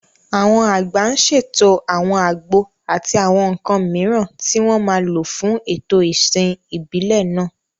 Àwọn àgbà ń ṣètò àwọn àgbo àti àwọn nǹkan mìíràn tí wọ́n máa lò fún ètò ìsìn ìbílẹ̀ náà.